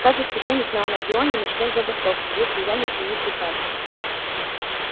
каждый священник на анакреоне начнёт забастовку если я не отменю приказа